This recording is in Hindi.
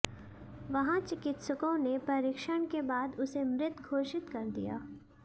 वहां चिकित्सकों ने परीक्षण के बाद उसे मृृत घोषित कर दिया